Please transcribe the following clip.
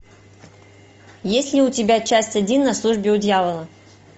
есть ли у тебя часть один на службе у дьявола